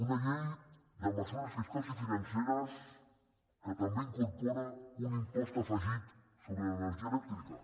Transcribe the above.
una llei de mesures fiscals i financeres que també incorpora un impost afegit sobre l’energia elèctrica